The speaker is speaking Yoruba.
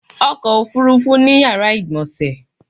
ọkò òfurufú ní yàrá ìgbọ̀nsè